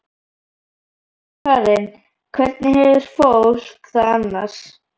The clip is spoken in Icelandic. Sunna Karen: Hvernig hefur fólk það annars?